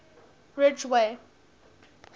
ridgeway